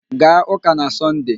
Gaa ụ́kà na Sọnde!